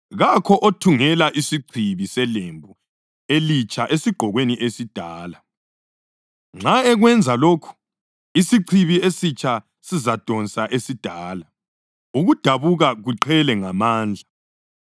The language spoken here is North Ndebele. Kakho othungela isichibi selembu elitsha esigqokweni esidala. Nxa ekwenza lokho, isichibi esitsha sizadonsa esidala, ukudabuka kuqhele ngamandla.